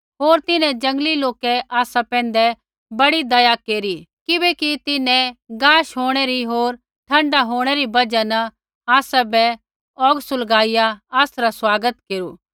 होर तिन्हैं जंगली लोकै आसा पैंधै बड़ी दया केरी किबैकि तिन्हैं गाश होंणै री होर ठण्ड होंणै री बजहा न आसाबै औग सुलगाइया आसरा स्वागत केरू